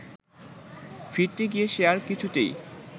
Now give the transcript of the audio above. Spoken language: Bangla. ফিরতে গিয়ে সে আর কিছুতেই